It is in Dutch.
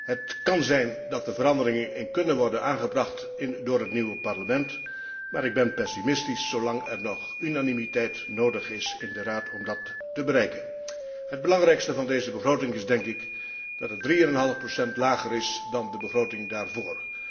Het kan zijn dat er veranderingen in kunnen worden aangebracht door het nieuwe Parlement, maar ik ben pessimistisch zolang er nog unanimiteit in de Raad nodig is om dat te bereiken. Het belangrijkste van deze begroting is dat zij 3,5 procent lager ligt dan de begroting daarvoor.